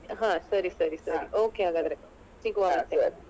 ಹ ಸರಿ ಸರಿ okay ಹಾಗಾದ್ರೆ ಸಿಗುವ .